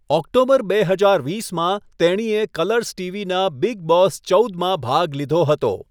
October બે હજાર વીસમાં, તેણીએ કલર્સ ટીવીના 'બિગ બોસ ચૌદ' માં ભાગ લીધો હતો.